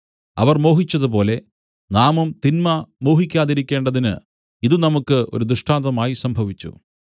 അവർ മോഹിച്ചതുപോലെ നാമും തിന്മ മോഹിക്കാതിരിക്കേണ്ടതിന് ഇത് നമുക്ക് ഒരു ദൃഷ്ടാന്തമായി സംഭവിച്ചു